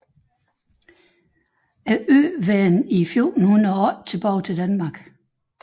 Øen vendte i 1408 tilbage til Danmark